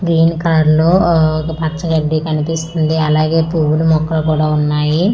green colour లో వా ఒక పచ్చ గడ్డి కనిపిస్తుంది అలాగే పువ్వులు మొక్కలు కూడా ఉన్నాయి ఆ నాక్--